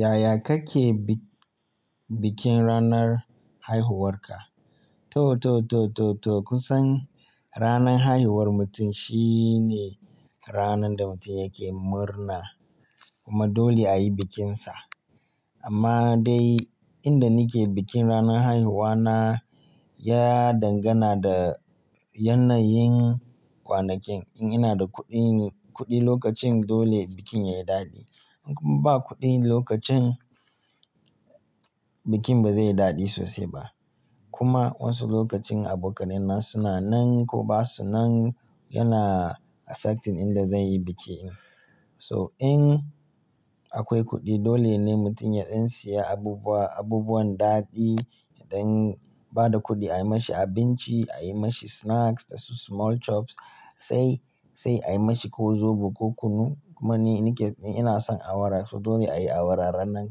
Yaya kake bi-bikin ranar haihuwarka? Toh kusan ranar haihuwar mutum shine ranar da mutum yake murna kuma dole a yi bikinsa. Amma dai inda nike bikin ranar haihuwa na, ya dangana da yanayin kwanakin. In ina da kuɗi, kuɗi lokacin dole bikin ya yi daɗi. In kuma ba kuɗi lokacin, bikin ba zai yi daɗi sosai ba. Kuma wasu lokacin abokanai na suna nan ko ba su nan, yana affecting inda zan yi bikin. So in akwai kuɗi dole ne mutum yaɗan siya abubuwa, abubuwan daɗi, yaɗan bada kuɗi a yi mashi abinci, a yi mashi snacks da su small chops, sai, sai a yi mashi ko zobo ko kunu. Kuma ni nike, ina son awara so dole a yi awara ranan,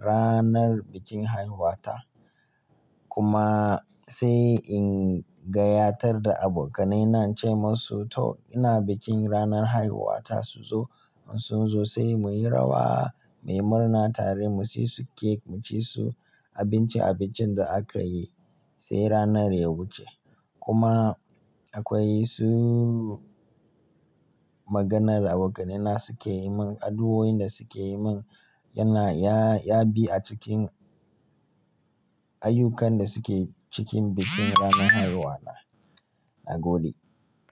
ranar bikin haihuwa ta. Kuma sai in gayatar da abokanai na ce musu "to ina bikin ranar haihuwa ta su zo." In sun zo sai muyi rawa, muyi murna tare, mu ci su cake, mu ci su abinci abincin da aka yi sai ranar ya wuce. Kuma akwai su maganar abokanai na suke yi mun, addu'o'in da suke yi mun yana, ya bi a cikin ayyukan da suke cikin bikin ranar haihuwa na. Na gode.